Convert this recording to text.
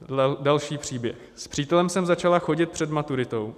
Další příběh: "S přítelem jsem začala chodit před maturitou.